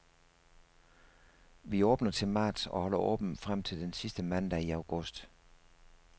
Vi åbner til marts og holder åbent frem til den sidste mandag i august.